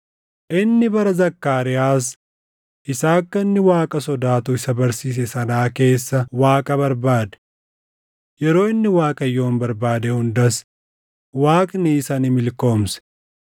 Inni bara Zakkaariyaas isa akka inni Waaqa sodaatu isa barsiise sanaa keessa Waaqa barbaade. Yeroo inni Waaqayyoon barbaade hundas Waaqni isa ni milkoomse.